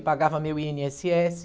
Eu pagava meu i ene esse esse.